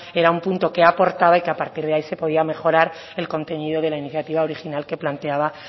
era un punto que aportaba y que a partir de ahí se podía mejorar el contenido de la iniciativa original que planteaba